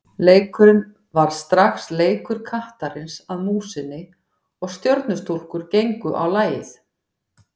Leikurinn varð strax leikur kattarins að músinni og Stjörnustúlkur gengu á lagið.